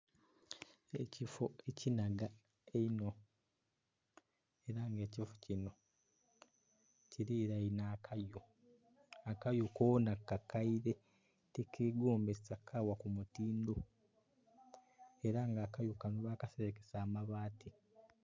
Ekifo ekinhaga einho era nga ekifoo kinho kirinhainhe akayu, akayu koona kakeire tikegombesa kagha ku mutindho era nga akayu kanho bakaserekesa amabati.